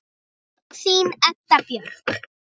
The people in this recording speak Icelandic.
Þín Edda Björk.